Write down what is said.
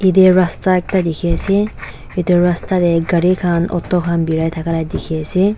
ete rasta ekta dikhi ase etu rasta te gari khan auto khan birai thakala dikhi ase.